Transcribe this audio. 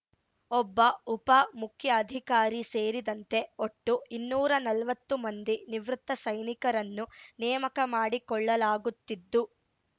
ಒಬ್ಬ ಉಪ ಮುಖ್ಯಅಧಿಕಾರಿ ಸೇರಿದಂತೆ ಒಟ್ಟು ಇನ್ನೂರ ನಲ್ವತ್ತು ಮಂದಿ ನಿವೃತ್ತ ಸೈನಿಕರನ್ನು ನೇಮಕ ಮಾಡಿಕೊಳ್ಳಲಾಗುತ್ತಿದ್ದು